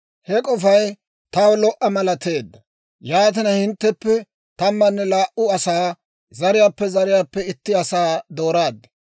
«He k'ofay taw lo"a malateedda; yaatina, hintteppe tammanne laa"u asaa, zariyaappe zariyaappe itti asaa dooraad.